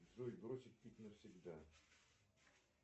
джой бросить пить навсегда